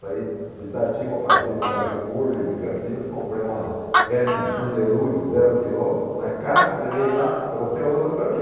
Saí de Itatiba, passei no Carrefour, em Campinas, comprei uma Hammond Underwood zero quilômetro, na caixa, levei lá, trouxe a outra para mim.